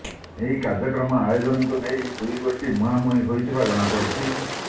ଏହି କାର୍ଯ୍ୟକ୍ରମ ଆୟୋଜନକୁ ନେଇ ଦୁଇ ଗୋଷ୍ଠୀ ମୁହାଁମୁହିଁ ହୋଇଥିବା ଜଣାପଡିଛି